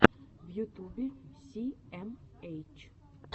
в ютубе си эм эйч